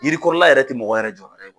Yirikɔrɔla yɛrɛ ti mɔgɔ yɛrɛ jɔ yɔrɔ ye.